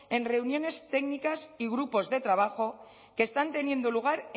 en reuniones técnicas y grupos de trabajo que están teniendo lugar